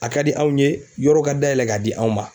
A ka di anw ye yɔrɔ ka dayɛlɛ k'a di anw ma